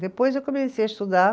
Depois eu comecei a estudar.